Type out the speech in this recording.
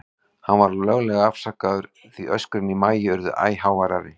Hann var löglega afsakaður, því öskrin í Maju urðu æ háværari.